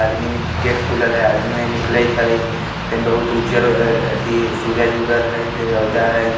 आदमी ने गेट खुलल हई आदमी निकलयित हई फेन बहुत उज्जर अथि सूरज उगल हई फिर रौदा हई।